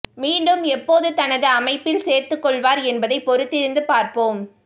மீண்டும் எப்போது தனது அமைப்பில் சேர்த்து கொள்வார் என்பதை பொறுத்திருந்து பார்ப்போம்